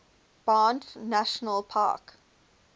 banff national park